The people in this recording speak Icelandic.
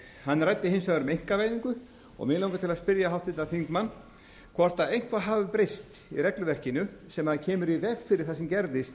hann ræddi hins vegar um einkavæðingu og mig langar til að spyrja háttvirtan þingmann hvort eitthvað hafi breyst í regluverkinu sem kemur í veg fyrir það sem gerðist